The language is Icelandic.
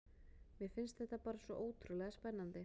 Mér fannst þetta bara svo ótrúlega spennandi.